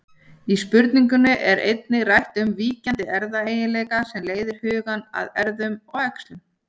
Í spurningunni er einnig rætt um víkjandi erfðaeiginleika sem leiðir hugann að erfðum og æxlun.